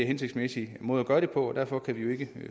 hensigtsmæssig måde at gøre det på og derfor kan vi ikke